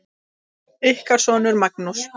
Ykkar sonur, Magnús.